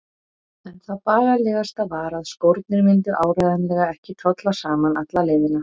En það bagalegasta var að skórnir myndu áreiðanlega ekki tolla saman alla leiðina.